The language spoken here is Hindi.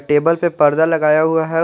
टेबल पर पर्दा लगाया हुआ है।